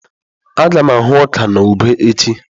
Aga m ahụ́ ọka na ube echi.